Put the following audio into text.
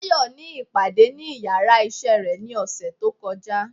Tayo ní ipadé ní ìyára iṣẹ re ní osé to kojá